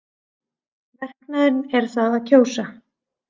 Verknaðurinn er það að kjósa.